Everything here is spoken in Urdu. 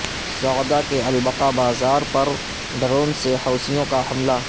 صعدہ کے البقع بازار پر ڈرون سے حوثیوں کا حملہ